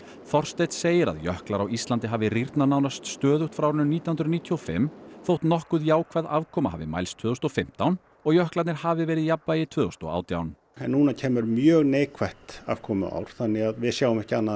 Þorsteinn segir að jöklar á Íslandi hafi rýrnað nánast stöðugt frá árinu nítján hundruð níutíu og fimm þótt nokkuð jákvæð afkoma hafi mælst tvö þúsund og fimmtán og jöklarnir hafi verið í jafnvægi tvö þúsund og átján en núna kemur mjög neikvætt afkomuár þannig að við sjáum ekki annað